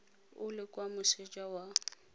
o le kwa moseja wa